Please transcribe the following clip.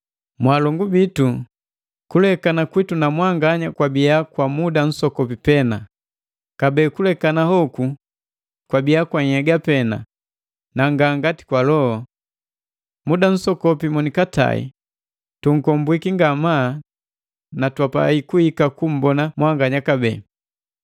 Mwaalongu bitu, kulekana kwitu na mwanganya kwabia kwa muda nsokopi pena, kabee kulekana hoku kwabi kwa nhnhyega pena na nga kwa mbomo. Muda nsokopi monikatai, tunkombwiki ngamaa na twapai kuhika kummbona mwanganya kabee.